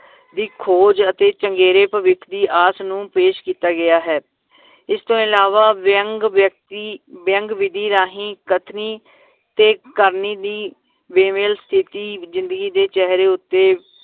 ਦੀ ਖੋਜ ਅਤੇ ਚੰਗੇਰੇ ਭਵਿੱਖ ਦੀ ਆਸ ਨੂੰ ਪੇਸ਼ ਕੀਤਾ ਗਿਆ ਹੈ ਇਸ ਤੋਂ ਅਲਾਵਾ ਵਿਅੰਗ ਵ੍ਯਕ੍ਤਿ ਵਿਅੰਗ ਵਿਧੀ ਰਾਹੀਂ ਕਥਨੀ ਤੇ ਕਰਨੀ ਦੀ ਸਥਿਤੀ ਜ਼ਿੰਦਗੀ ਦੇ ਚੇਹਰੇ ਉੱਤੇ